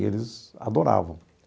E eles adoravam.